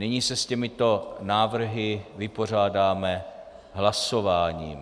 Nyní se s těmito návrhy vypořádáme hlasováním.